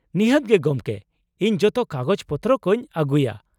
ᱱᱤᱦᱟᱹᱛ ᱜᱮ ᱜᱚᱢᱠᱮ, ᱤᱧ ᱡᱚᱛᱚ ᱠᱟᱜᱚᱡᱽ ᱯᱚᱛᱨᱚ ᱠᱚᱧ ᱟᱹᱜᱩᱭᱟ ᱾